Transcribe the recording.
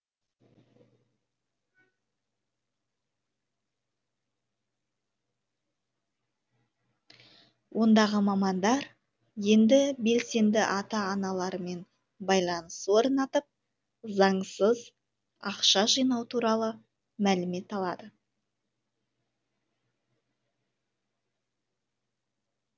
ондағы мамандар енді белсенді ата аналармен байланыс орнатып заңсыз ақша жинау туралы мәлімет алады